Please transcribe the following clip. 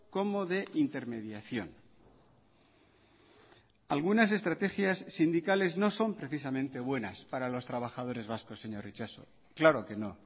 como de intermediación algunas estrategias sindicales no son precisamente buenas para los trabajadores vascos señor itxaso claro que no